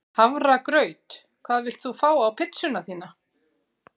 Hafragraut Hvað vilt þú fá á pizzuna þína?